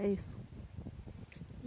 É isso.